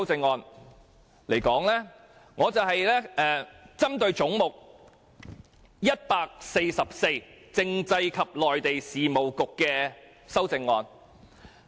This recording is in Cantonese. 我選擇就有關"總目 144― 政府總部：政制及內地事務局"的修正案發言。